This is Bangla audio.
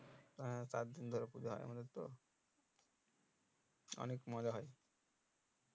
হ্যাঁ সাত দিন ধরে পুজো হয় আমাদের তো অনেক মজা হয়